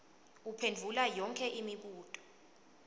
uphendvula yonkhe imibuto